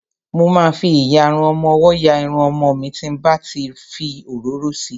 Mo ma fi ìyarun ọmọwọ́ ya Irun ọmọ mi tí n bá ti fi òróró si.